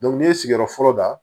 n'i ye sigiyɔrɔ fɔlɔ da